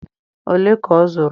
ole ka ọ zụrụ